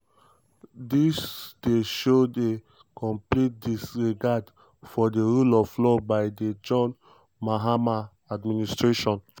dis dey show di complete disregard for di rule of law by di john mahama administration."